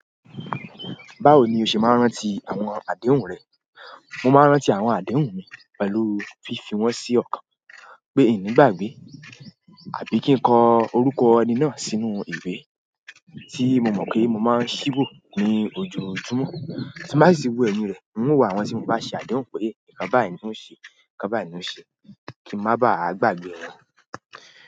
Báwo ni o ṣe máa ń rántí àwọn àdéhùn rẹ? Mo máa ń rántí àwọn àdéhùn mi pẹ̀lú fífi wọ́n sí ọ̀kan pé ini gbàgbe, àbí kí n kọ orúkọ ẹni náà sínú ìwé tí mo mọ̀ pé mo máa ṣíwò ní ojoojúmọ́. Tí bá sì wo ẹ̀mí rẹ̀, ń wò àwọn ohun tí mo bá ṣe àdéhùn pé, ìká bá ẹ̀ ni ó ṣe, ìká bá ẹ̀ ni ó ṣe kí ń máa bá à gbàgbé wọn.